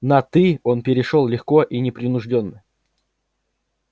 на ты он перешёл легко и непринуждённо